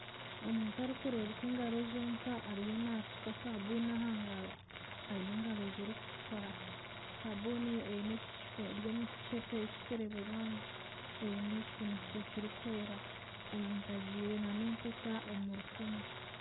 Omuntu arikureebeka engaro zonka ariyo nashuuka sabuuni aha ngaro aine engaro zirikutukura, sabuuni eri omu kiceepe kirikureeberwamu eine ekifundikizo kirikwera omuntu ajwaire na n'empeta omu rukumu.